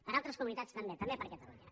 per a altres comunitats també també per a catalunya